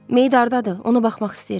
Meyid ordadır, ona baxmaq istəyirəm.